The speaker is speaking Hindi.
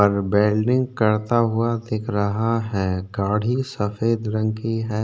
और वेल्डिंग करता हुआ दिख रहा है गाड़ी सफेद रंग की है।